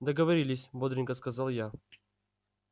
договорились бодренько сказал я